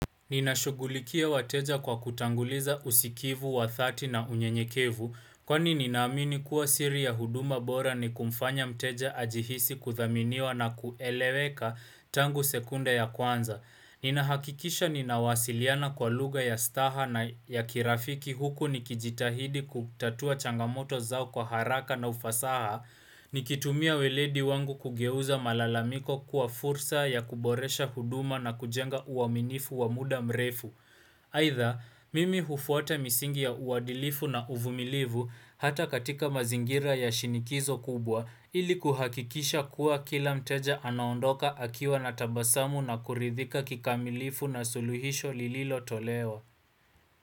Ninashugulikia wateja kwa kutanguliza usikivu wa dhati na unyenyekevu Kwani ninamini kuwa siri ya huduma bora ni kumfanya mteja ajihisi kudhaminiwa na kueleweka tangu sekunda ya kwanza Ninahakikisha ninawasiliana kwa lugha ya staha na ya kirafiki huku nikijitahidi kutatua changamoto zao kwa haraka na ufasaha nikitumia weledi wangu kugeuza malalamiko kuwa fursa ya kuboresha huduma na kujenga uaminifu wa muda mrefu. Aidha, mimi hufuata misingi ya uadilifu na uvumilivu hata katika mazingira ya shinikizo kubwa ili kuhakikisha kuwa kila mteja anaondoka akiwa na tabasamu na kuridhika kikamilifu na suluhisho lililo tolewa.